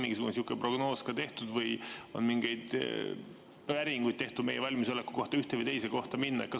Kas on tehtud mingisugune prognoos või mingeid päringuid meie valmisoleku kohta ühte või teise kohta minna?